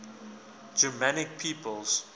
germanic peoples